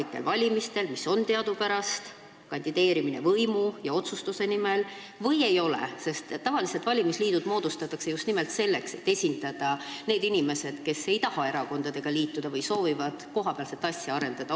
Teadupärast kandideeritakse kohalikel valimistel võimu ja otsustusõiguse nimel ning tavaliselt moodustatakse valimisliidud just nimelt selleks, et esindatud oleks need inimesed, kes ei taha erakondadega liituda või soovivad kohapealset asja arendada.